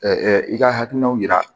i ka hakilinaw yira